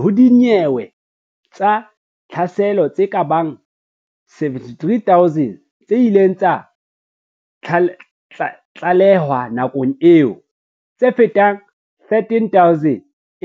Ho dinyewe tsa tlhaselo tse kabang 73 000 tse ileng tsa tlalehwa nakong eo, tse fetang 13000